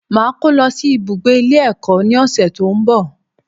Màá kó lọ sí ibùgbé Ilé ẹ̀kọ́ ní òsẹ̀ tó ń bọ̀